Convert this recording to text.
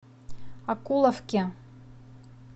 окуловке